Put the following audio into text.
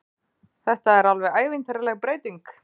Þetta er alveg ævintýraleg breyting